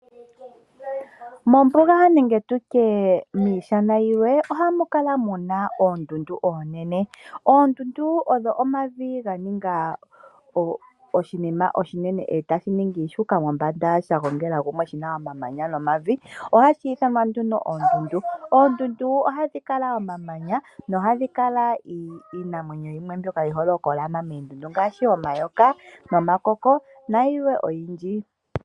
Mombuga nenge tutye miishana yilwe ohamu kala oondundu onene. Oondundu odho omavi ga ninga oshinima oshinene etashi ningi shuuka mombanda sha gongela kumwe shina omamanya no mavi. ohashi iithanwa nduno oondundu ,oondundu ohadhi kala omamanya na ohamu kala iinamwenyo yimwe ngashi omayooka noka koko nayilwe oyindji.